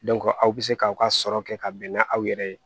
aw bɛ se k'aw ka sɔrɔ kɛ ka bɛn n'a aw yɛrɛ ye